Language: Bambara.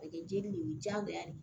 A bɛ kɛ jeli de ye diyagoya de